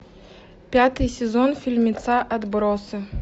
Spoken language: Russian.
пятый сезон фильмеца отбросы